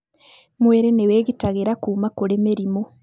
Mwĩrĩ nĩ wĩgitagĩra kuma kũrĩ mĩrimũ.